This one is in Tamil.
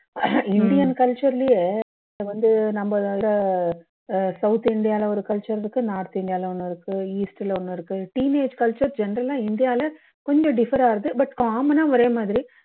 indian culture லயே வந்து நம்ம இதுல south india ல ஒரு culture இருக்கு north india ல ஒன்னு இருக்கு east ல ஒன்னு இருக்கு teenage culture general லா இந்தியால கொஞ்சம் differ ஆகுது but common னா ஒரே மாதிரி